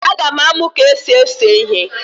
Aga m amụ ka esi ese ihe